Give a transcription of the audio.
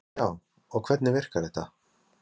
Ásgeir: Já, og hvernig virkar þetta?